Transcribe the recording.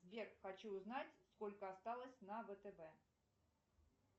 сбер хочу узнать сколько осталось на втб